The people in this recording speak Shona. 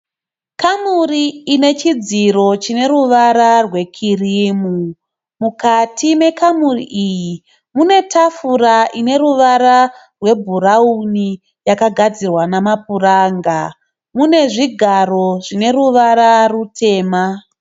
Kamuri ine chidziro chine ruvara rwekirimu. Mukati mekamuri iyi mune tafura ine ruvara rwebhurauni yakagadzirwa namapuranga, mune zvigaro zvine ruvara rutema.